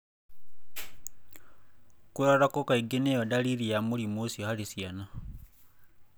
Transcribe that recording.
Kũrarako kaingĩ niyo dariri ya mũrimũ ucio harĩ ciana.